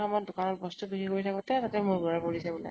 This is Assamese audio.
পুজাৰ সময়ত দোকান ত বস্তু বিক্ৰী কৰি থাকোতে, তাতে মূৰ ঘুৰাই পৰিছে বোলে ।